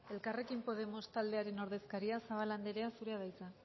elkarrekin podemos taldearen ordezkaria zabala anderea zurea da hitza